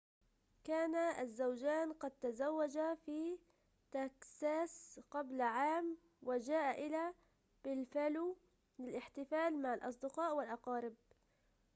كان الزوجان قد تزوجا في تكساس قبل عام وجاءا إلى بافالو للاحتفال مع الأصدقاء والأقارب